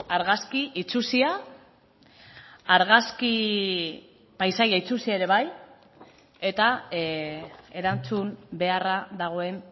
argazki itsusia argazki paisaia itsusia ere bai eta erantzun beharra dagoen